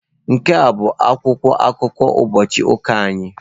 Nke a bụ akwụkwọ akụkọ ụbọchị ụka anyị.